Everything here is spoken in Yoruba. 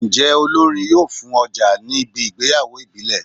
Njé olórin yóò fùn ojà níbi ìgbéyàwó ìbílẹ̀?